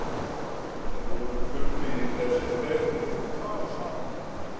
Þeir voru kunnugir þessir tveir og tóku tal saman.